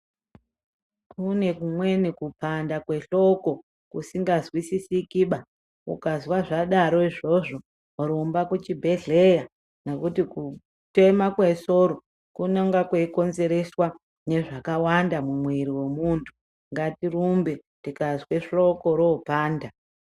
Kune kumweni kupanda kwehloko kusingazwisisikiba, ukazwa zvadaro izvozvo rumba kuchibhedhlera nekuti kutema kwesoro kunonga kweikonzereswa nezvakawanda mumwiri wentu , ngatirumbe tikazwe hloko ropanda.